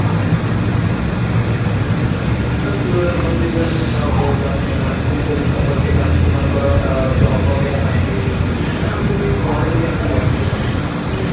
ଅ ସିଏ ତମେ ଯେମତି କହୁଛ I mean ଆମକୁ ବି ଯଦି suppose କେବେ ଆମକୁ ମନେକର ଅ job ବଗେରା ପାଇଁ ବି ତେଣୁ ଆମକୁ ବି ଘରେ ଯଦି ଆମେ ବସିଛୁ I mean ଆମକୁ